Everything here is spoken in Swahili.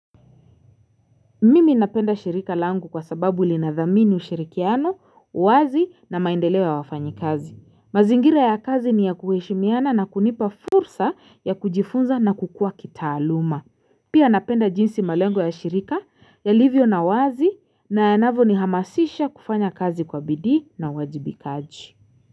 Mimi napenda shirika langu kwa sababu linadhamini ushirikiano, uwazi na maendeleo ya wafanyi kazi. Mazingira ya kazi ni ya kuheshimiana na kunipa fursa ya kujifunza na kukua kitaaluma. Pia napenda jinsi malengo ya shirika, yalivyo na uwazi na yanavyo ni lhamasisha kufanya kazi kwa bidii na uwajibikaji.